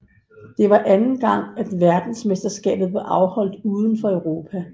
Det var anden gang at verdensmesterskaber blev afholdt uden for Europa